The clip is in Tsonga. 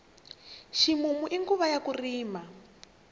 ximumu i nguva ya ku rima